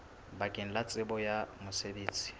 bakeng la tsebo ya mosebetsi